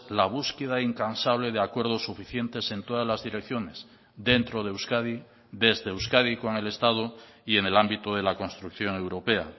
la búsqueda incansable de acuerdos suficientes en todas las direcciones dentro de euskadi desde euskadi con el estado y en el ámbito de la construcción europea